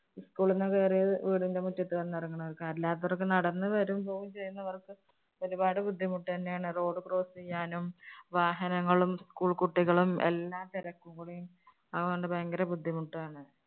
School ന്ന് കയറിയാ വീ~വീടിന്റെ മുറ്റത്ത് വന്നിറങ്ങണോർക്ക്. അല്ലാത്തോര്‍ക്ക്‌ നടന്ന് വരൂം, പോവുകയും ചെയ്യുന്നവര്‍ക്ക് ഒരുപാട് ബുദ്ധിമുട്ട് തന്നെയാണ്. Road cross ചെയ്യാനും, വാഹനങ്ങളും, school കുട്ടികളും എല്ലാം തിരക്ക് കൂടേം അതുകൊണ്ട് ഭയങ്കര ബുദ്ധിമുട്ടാണ്.